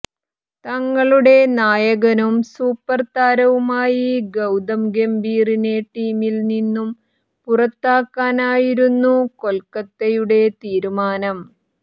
തങ്ങളുടെ നായകനും സൂപ്പര് താരവുമായി ഗൌതം ഗംഭീറിനെ ടീമില് നിന്നും പുറത്താക്കാനായിരുന്നു കൊല്ക്കത്തയുടെ തീരുമാനം